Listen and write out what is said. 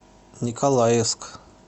николаевск